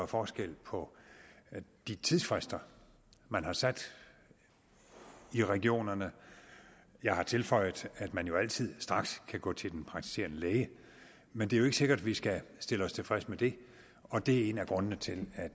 forskel på de tidsfrister man har sat i regionerne jeg har tilføjet at man jo altid straks kan gå til den praktiserende læge men det er ikke sikkert at vi skal stille os tilfredse med det og det er en af grundene til at